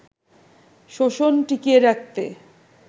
শোষণ টিকিয়ে রাখতে